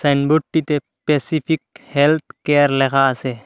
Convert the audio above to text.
সাইনবোর্ডটিতে Pacific health care লেখা আসে।